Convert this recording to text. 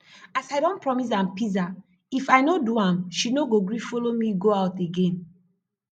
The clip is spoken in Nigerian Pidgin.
as i don promise am pizza if i no do am she no go gree follow me go out again